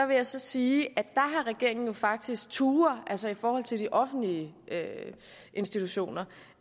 vil jeg så sige at regeringen jo faktisk har turdet altså i forhold til de offentlige institutioner